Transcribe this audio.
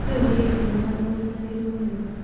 Kĩu nĩ gĩkeno na ũynitanĩri mwega.